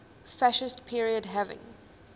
fascist period having